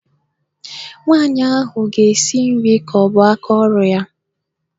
Nwaanyị ahụ ga-esi nri ka ọ bụ aka ọrụ ya.